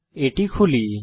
এটি খুলি